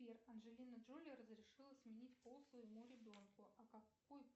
сбер анджелина джоли разрешила сменить пол своему ребенку а какой